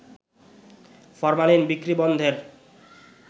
formalin বিক্রি বন্ধের